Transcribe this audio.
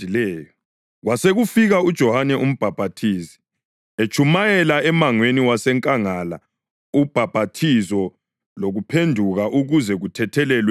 Kwasekufika uJohane Umbhaphathizi, etshumayela emangweni wasenkangala ubhaphathizo lokuphenduka ukuze kuthethelelwe izono.